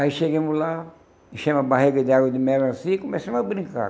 Aí chegamos lá, enchemos a barriga de água de melancia e começamos a brincar.